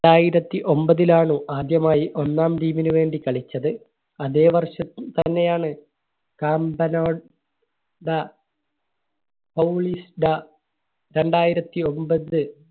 ണ്ടായിരത്തി ഒമ്പതിലാണ് ആദ്യമായി ഒന്നാം Team നു വേണ്ടി കളിച്ചത്. അതെ വർഷം തന്നെ ആണ് രണ്ടായിരത്തി ഒമ്പത്